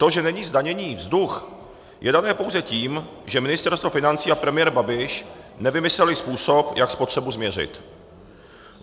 To, že není zdaněný vzduch, je dané pouze tím, že Ministerstvo financí a premiér Babiš nevymysleli způsob, jak spotřebu změřit.